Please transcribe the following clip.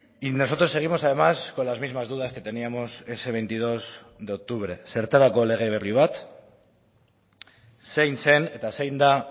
y nosotros seguimos además con las mismas dudas que teníamos ese veintidós de octubre zertarako lege berri bat zein zen eta zein da